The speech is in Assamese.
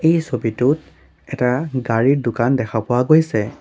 এই ছবিটোত এটা গাড়ীৰ দোকান দেখা পোৱা গৈছে।